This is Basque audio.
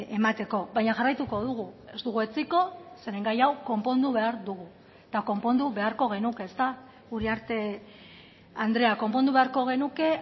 emateko baina jarraituko dugu ez dugu etsiko zeren gai hau konpondu behar dugu eta konpondu beharko genuke ezta uriarte andrea konpondu beharko genuke